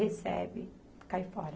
Recebe, cai fora.